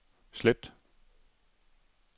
slet